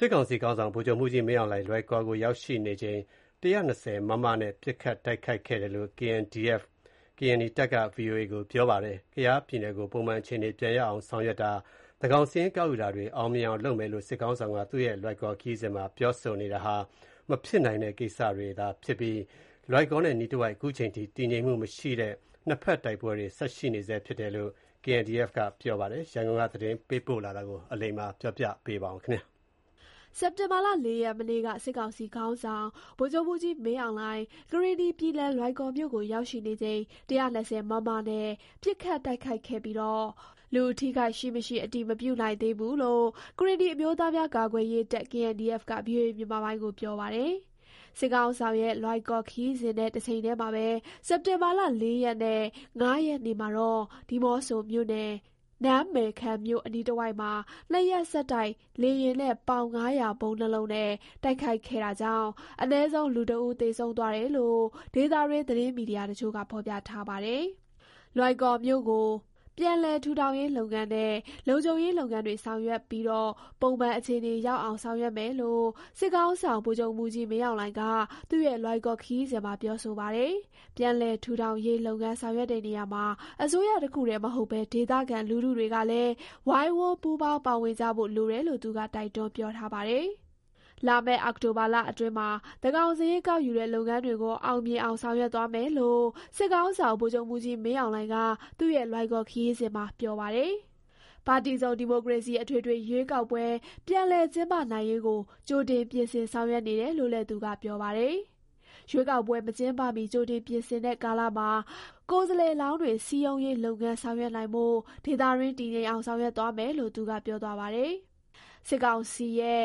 စစ်ကောင်စီခေါင်းဆောင် ဗိုလ်ချုပ်မှူးကြီး မင်းအောင်လှိုင် လွိုင်ကော်ကို ရောက်ရှိနေချိန် ၁၂၀ မမ နဲ့ ပစ်ခတ်တိုက်ခိုက်ခဲ့တယ်လို့ KNDF က ဗွီအိုအေကို ပြောပါတယ်။ ကယားပြည်နယ်ကို ပုံမှန်အခြေအနေ ပြန်ရောက်အောင် ဆောင်ရွက်တာ၊ သန်းခေါင်စာရင်းကောက်ယူတာတွေ အောင်မြင်အောင်လုပ်မယ်လို့ စစ်ခေါင်းဆောင်က သူ့ရဲ့ လွိုင်ကော်ခရီးစဉ်မှာ ပြောဆိုနေတာဟာ မဖြစ်နိုင်တဲ့ကိစ္စတွေ ပြောဆိုနေခြင်းဖြစ်ပြီး လွိုင်ကော်နဲ့အနီးတဝိုက်က ခုချိန်ထိ တည်ငြိမ်မှုမရှိဘဲ နှစ်ဖက်တိုက်ပွဲ ဆက်ရှိနေဆဲဖြစ်တယ်လို့ KNDF က ပြောပါတယ်။ ဒီအကြောင်း ရန်ကုန်က သတင်းပေးပို့ချက်ကို တင်ပြပေးထားပါတယ်။ စက်တင်ဘာ ၄ ရက် မနေ့က စစ်ကောင်စီခေါင်းဆောင် ဗိုလ်ချုပ်မှူးကြီး မင်းအောင်လှိုင် ကရင်နီပြည်နယ် လွိုင်ကော်မြို့ကို ရောက်ရှိနေချိန် ၁၂၀ မမ နဲ့ ပစ်ခတ် တိုက်ခိုက်ခဲ့ပြီး လူအထိအခိုက်ရှိ မရှိ အတည်မပြုနိုင်သေးဘူးလို့ ကရင်နီအမျိုးသားများကာကွယ်ရေးတပ် (KNDF) က VOA ကို ပြောပါတယ်။ စစ်ခေါင်းဆောင်ရဲ့ လွိုင်ကော်ခရီးစဉ်နဲ့ တချိန်တည်းမှာပဲ စက်တင်ဘာလ ၄ ရက်နဲ့ ၅ရက်နေ့မှာတော့ ဒီးမော့ဆိုမြို့နယ် နန်းမယ်ခံမြို့ အနီးတဝိုက်မှာ နှစ်ရက်ဆက် တိုက်လေယာဉ်နဲ့ ပေါင် ၅၀၀ ဗုံး ၂လုံးနဲ့ တိုက်ခိုက်ခဲ့တာကြောင့် အနည်းဆုံး လူ ၁ ဦးသေဆုံးသွားတယ်လို့ ဒေသတွင်း သတင်းမီဒီယာတချို့က ဖော်ပြထားပါတယ်။ လွိုင်ကော်မြို့ကို ပြန်ပြလည်ထူးထောင်ရေးလုပ်ငန်းနဲ့ လုံခြုံရေးလုပ်ငန်းတွေ ဆောင်ရွက်ပြီး ပုံမှန်အခြေအနေ ရောက်အောင် ဆောင်ရွက်မယ်လို့ စစ်ခေါင်းဆောင် ဗိုလ်ချုပ်မှူးကြီး မင်းအောင်လှိုင်က သူ့ရဲ့ လွိုင်ကော်ခရီးစဉ်မှာ ပြောဆိုပါတယ်။ ပြန်လည်ထူထောင်ရေးလုပ်ငန်း ဆောင်ရွက်တဲ့ နေရာမှာ အစိုးရတခုတည်းမဟုတ်ဘဲ ဒေသခံလူထုတွေကလည်း ဝိုင်းဝန်းပူးပေါင်းပါဝင်ကြဖို့ လိုတယ်လို့ သူက တိုက်တွန်း ပြောထားပါတယ်။ လာမယ့် အောက်တိုဘာလအတွင်းမှာ သန်းခေါင်စာရင်း ကောက်ယူတဲ့လုပ်ငန်းတွေကို အောင်မြင်အောင် ဆောင်ရွက်သွားမယ်လို့ စစ်ခေါင်းဆောင် ဗိုလ်ချုပ်မှူးကြီး မင်းအောင်လှိုင်က သူ့ရဲ့ လွိုင်ကော်ခရီးစဉ်မှာ ပြောပါတယ်။ ပါတီစုံဒီမိုကရေစီအထွေထွေ ရွေးကောက်ပွဲ ပြန်လည်ကျင်းပနိုင်ရေးကို ကြိုတင်ပြင်ဆင် ဆောင်ရွက်နေတယ်လို့ သူက ပြောပါတယ်။ ရွေးကောက်မကျင်းပမီ ကြိုတင်ပြင်ဆင်တဲ့ ကာလမှာ ကိုယ်စားလှယ်လောင်းတွေ စည်းရုံးရေးလုပ်ငန်း ဆောင်ရွက်နိုင်ဖို့ ဒေသတွင်း တည်ငြိမ်အောင် ဆောင်ရွက်မယ်လို့ သူက ပြောသွားပါတယ်။ စစ်ကောင်စီရဲ့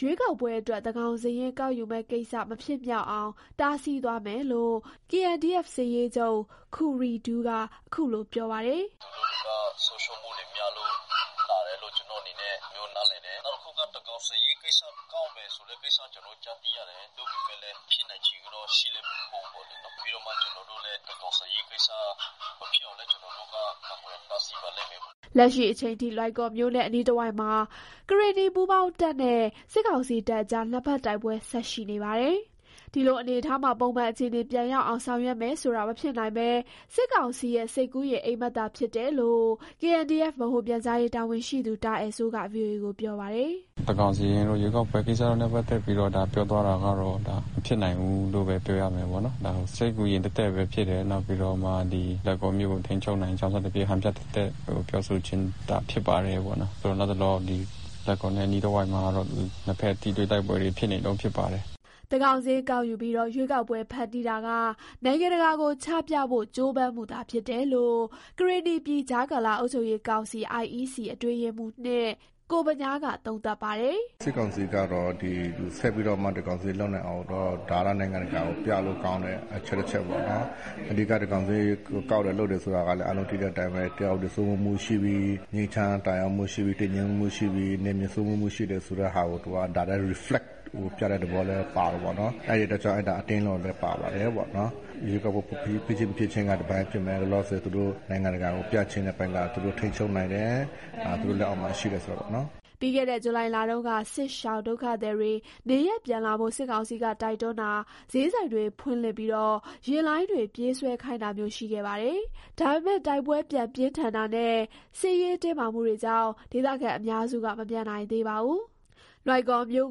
ရွေးကောက်ပွဲအတွက် သန်းခေါင်စာရင်းကောက်ယူမယ့်ကိစ္စ မဖြစ်မြောက်အောင် တားဆီးသွားမယ်လို့ KNDF စစ်ရေးချုပ် ခူရီဒူက ခုလို ပြောပါတယ်။ “သူတို့တွေက ဆုံးရှုံးမှုတွေများလို့ လာတယ်လို့ ကျနော်အနေနဲ့ အဲ့လိုမျိုးနားလည်တယ်။ နောက်တစ်ခုက သန်းခေါင်စာရင်းကိစ္စ၊ ကောက်မယ် ဆိုတဲ့ကိစ္စ ကျနော်တို့ ကြားသိရတယ်။ သို့မယ့်လည်း ဖြစ်နိုင်ချေကတော့ ရှိလည်း မရှိဘူးပေါ့နော်။ ပြီးတော့ ကျနော်တို့လည်း သန်းခေါင်စာရင်းကိစ္စ မဖြစ်အောင်လည်း ကျနော်တို့က ကာကွယ်တားဆီးပါလိမ်မယ်ပေါ့နော်။” လက်ရှိချိန်ထိ လွိုင်ကော်မြို့နဲ့ အနီးတဝိုက်မှာ ကရင်နီပူးပေါင်းတပ်နဲ့ စစ်ကောင်စီတပ်အကြား နှစ်ဖက်တိုက်ပွဲ ဆက်ရှိနေပါတယ်။ ဒီလိုအနေအထားမှာ ပုံမှန်အခြေအနေပြန်ရောက်အောင် ဆောင်ရွက်မယ်ဆိုတာ မဖြစ်နိုင်ဘဲ စစ်ကောင်စီရဲ့ စိတ်ကူးယဉ်အိပ်မက်သာ ဖြစ်တယ်လို့ KNDF ဗဟိုပြန်ကြားရေးတာဝန်ရှိသူ တာအယ်စိုးက ဗွီအိုအေကို ပြောပါတယ်။ “သန်းခေါင်စာရင်းတို့၊ ရွေးကောက်ပွဲကိစ္စနဲ့ ပတ်သက်ပြီးတော့ ဒါပြောသွားတာကတော့ ဒါ မဖြစ်နိုင်ဘူးလို့ပဲ ပြောရမယ်ပေါ့နော်။ ဒါကို စိတ်ကူးယဉ်သက်သက်ပဲ ဖြစ်တယ်။ နောက် ဒီလွိုင်ကော်မြို့ကို ထိန်းချုပ်နိုင်ကြောင်း စသဖြင့် ဟန်ပြသက်သက် ပြောဆိုခြင်းသာ ဖြစ်ပါတယ်ပေါ့နော်။ လတ်တလော လွိုင်ကော်နဲ့ အနီးတဝိုက်မှာတော့ နှစ်ဖက် ထိတွေ့ တိုက်ပွဲတွေ ဖြစ်နေတုန်းဖြစ်ပါတယ်။” သန်းခေါင်စာရင်းကောက်ယူပြီး ရွေးကောက်ပွဲဖန်တီးတာက နိုင်ငံတကာကို ချပြဖို့ ကြိုးပမ်းမှုသာဖြစ်တယ်လို့ ကရင်နီပြည် ကြားကာလ အုပ်ချုပ်ရေးကောင်စီ (IEC) အတွင်းရေးမှူး (၂) ကိုဗညားက သုံးသပ်ပါတယ်။ “စစ်ကောင်စီကတော့ ဆက်ပြီးတော့မှ သန်းခေါင်စာရင်းလုပ်နိုင်အောင်တော့ ဒါက နိုင်ငံတကာကို ပြလို့ကောင်းတဲ့ အချက် တချက်ပေါ့နော်။ အဓိက သန်းခေါင်စာရင်းကောက်တယ် လုပ်တယ်ဆိုတာကလည်း အားလုံးသိတဲ့အတိုင်းပဲ တရားဥပဒေစိုးမိုးမှုရှိပြီ၊ ငြိမ်ချမ်းသာယာမှုရှိပြီ၊ တည်ငြိမ်မှုရှိပြီ၊ နယ်မြေစိုးမိုးမှုရှိပြီ ဆိုတဲ့ဟာကို သူက ဒါလည်း Reflect ပြတဲ့ သဘောလည်း ပါတယ်ပေါ့နော်။ အဲ့ဒီအတွက်ကြောင့် အဲ့ဒါ အတင်းလုပ်တာလည်း ပါတယ်ပေါ့နော်။ ရွေးကောက်ပွဲဖြစ်ခြင်း မဖြစ်ခြင်းက တပိုင်းဖြစ်မယ်။ လောလောဆယ် သူတို့နိုင်ငံတကာကို ပြချင်တဲ့အပိုင်းက သူတို့ထိန်းချုပ်နိုင်တယ်၊ သူတို့လက်အောက်မှာ ရှိတယ်ဆိုတာပေါ့နော်။” ပြီးခဲ့တဲ့ ဇူလိုင်လတုန်းက စစ်ရှောင်ဒုက္ခသည်တွေ နေရပ်ပြန်လာဖို့ စစ်ကောင်စီက တိုက်တွန်းတာ၊ ဈေးဆိုင်တွေ ဖွင့်လှစ်၊ ယာဉ်လိုင်းတွေ ပြေးဆွဲခိုင်းတာမျိုး ရှိခဲ့ပါတယ်။ ဒါပေမယ့် တိုက်ပွဲ ပြန်ပြင်းထန်တာနဲ့ စစ်ရေးတင်းမာမှုတွေကြောင့် ဒေသခံအများစုက မပြန်နိုင်ပါဘူး။ လွိုင်ကော်မြို့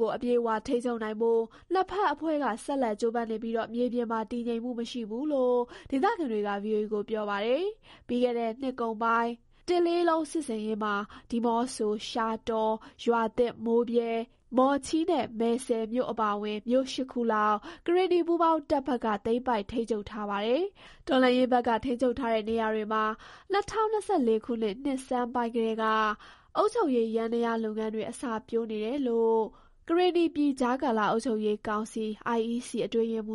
ကို အပြည့်အဝထိန်းချုပ်နိုင်ဖို့ နှစ်ဖက်အဖွဲ့က ဆက်လက် ကြိုးပမ်းနေပြီး မြေပြင်မှာ တည်ငြိမ်မှုမရှိဘူးလို့ ဒေသခံတွေက ဗွီအိုအေကို ပြောပါတယ်။ ပြီးခဲ့တဲ့နှစ်ကုန်ပိုင်း ၁၁၁၁ စစ်ဆင်ရေးမှာ ဒီးမော့ဆို၊ ရှားတော၊ ရွာသစ်၊ မိုးဗြဲ၊ မော်ချီးနဲ့ မယ်စဲ့မြို့ အပါအဝင် မြို့ ၈ ခုလောက် ကရင်နီ ပူးပေါင်းတပ်ဘက်က သိမ်းပိုက်ထိန်းချုပ်ထားပါတယ်။ တော်လှန်ရေးဘက်က ထိန်းချုပ်ထားတဲ့ နေရာတွေမှာ ၂၀၂၄ နှစ်ဆန်ပိုင်းကတည်းက အုပ်ချုပ်ရေးယန္တရားလုပ်ငန်းတွေ အစပျိုးနေတယ်လို့ ကရင်နီပြည် ကြားကာလ အုပ်ချုပ်ရေးကောင်စီ (IEC) အတွင်းရေးမှ